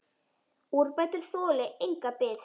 Úrbætur þoli enga bið.